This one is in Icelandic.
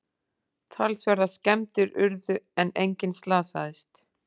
Talsverðar skemmdir urðu en enginn slasaðist